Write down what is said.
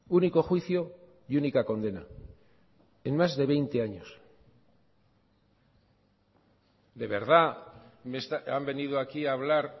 único juicio y única condena en más de veinte años de verdad han venido aquí a hablar